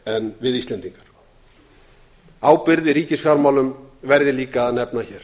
en við íslendingar ábyrgð í ríkisfjármálum verð ég líka að nefna hér